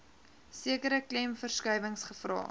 sekere klemverskuiwings gevra